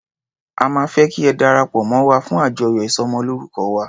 A máa fẹ́ kí ẹ darapọ̀ mọ́ wa fún àjọyọ̀ ìsọmọlórúkọ wa.